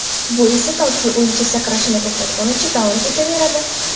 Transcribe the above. Bu esa toki o‘yinchi sakrashni to‘xtatgunicha davom etaveradi.